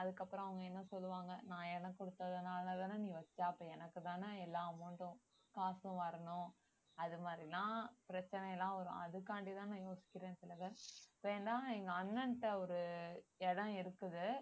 அதுக்கப்புறம் அவங்க என்ன சொல்லுவாங்க நான் இடம் கொடுத்ததுனாலதான நீ வெச்ச அப்ப எனக்குத்தானே எல்லா amount ம் காசும் வரணும் அது மாதிரிலாம் பிரச்சனை எல்லாம் வரும் அதுக்காண்டி தான் நான் யோசிக்கிறேன் திலகன் ஏன்னா எங்க அண்ணன்ட்ட ஒரு இடம் இருக்குது